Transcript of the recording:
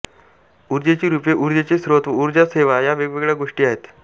ऊर्जेची रूपे ऊर्जेचे स्रोत व ऊर्जा सेवा या वेगवेगळ्या गोष्टी आहेत